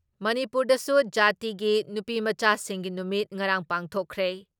ꯃꯅꯤꯄꯨꯔꯗꯁꯨ ꯖꯥꯇꯤꯒꯤ ꯅꯨꯄꯤꯃꯆꯥꯁꯤꯡꯒꯤ ꯅꯨꯃꯤꯠ ꯉꯔꯥꯡ ꯄꯥꯡꯊꯣꯛꯈ꯭ꯔꯦ ꯫